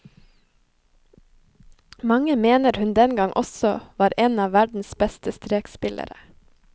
Mange mener hun dengang også var en verdens beste strekspillere.